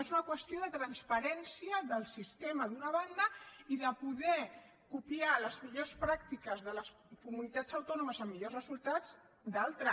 és una qüestió de transparència del sistema d’una banda i de poder copiar les millors pràctiques de les comunitats autònomes amb millors resultats de l’altra